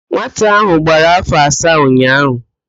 Nwata áhụ̀ gbara áfọ̀ asaa ụnyaahụ